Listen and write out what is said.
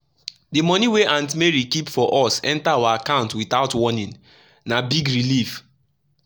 the money wey aunt mary keep for us enter our account without warning — na big relief.